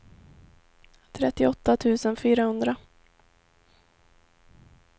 trettioåtta tusen fyrahundra